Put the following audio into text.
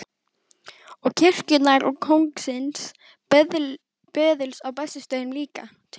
Og kirkjunnar og kóngsins böðuls á Bessastöðum líka, tuldraði